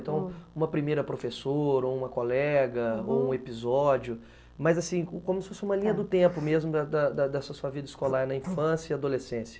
Então, uma primeira professora, ou uma colega, ou um episódio, mas assim, como se fosse uma linha do tempo mesmo da, da, da sua vida escolar, na infância e adolescência.